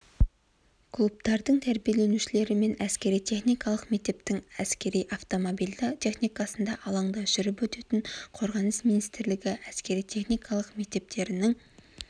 клубтардың тәрбиеленушілері мен әскери-техникалық мектептің әскери автомобильді техникасында алаңда жүріп өтетін қорғаныс министрлігі әскери-техникалық мектептерінің